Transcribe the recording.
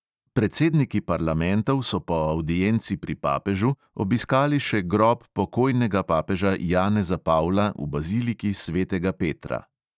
Predsedniki parlamentov so po avdienci pri papežu obiskali še grob pokojnega papeža janeza pavla v baziliki svetega petra.